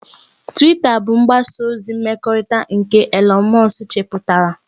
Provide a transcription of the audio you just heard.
Twita bụ mgbasa ozi mmekọrịta nke Elon musk chepụtara